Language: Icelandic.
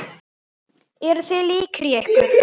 Eru þið líkir í ykkur?